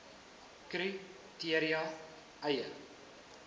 kri teria eie